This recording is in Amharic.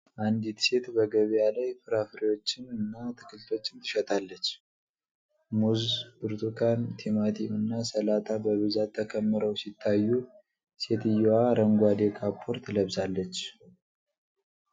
አንዲት ሴት በገበያ ላይ ፍራፍሬዎችን እና አትክልቶችን ትሸጣለች። ሙዝ፣ ብርቱካን፣ ቲማቲም፣ እና ሰላጣ በብዛት ተከምረው ሲታዩ፣ ሴትየዋ አረንጓዴ ካፖርት ለብሳለች።